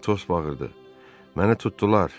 Atos bağırdı: Mənə tutdular.